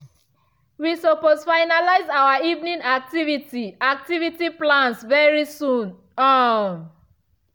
we suppose finalize our evening activity activity plans very soon um